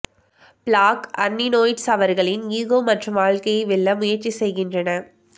black அர்நினொயிட்ஸ் அவர்களின் ego மற்றும் வாழ்க்கையை வெல்ல முயற்சி செய்கின்றன